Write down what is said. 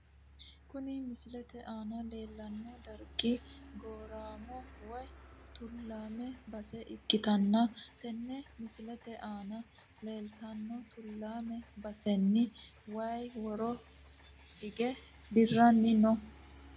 Kuni misilete aana leelano dargi gooramo woyi tulaame base ikitanna tene misilete aana leletano tulaame baseni wayi woro ige dirani no.